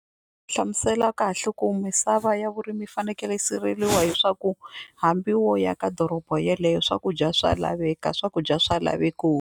Hlamusela kahle ku misava ya vurimi yi fanekele yi siveliwa hiswaku hambi wo aka doroba yeleyo swakudya swa laveka swakudya swa laveko.